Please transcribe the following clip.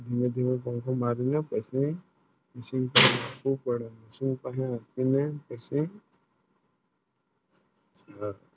બે દિવસ પાંખો મારી ના પછી શું પાડો શું પડી ના